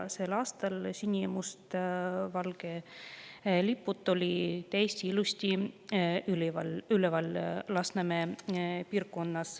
Sel aastal olid sinimustvalged lipud Lasnamäe piirkonnas täiesti ilusti üleval.